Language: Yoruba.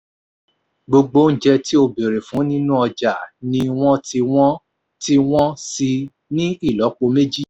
gbogbo oúnjẹ tí o béèrè fún nínú ọjà ni wọ́n ti wọ́n ti wọ́n síi ní ìlọ́po méjì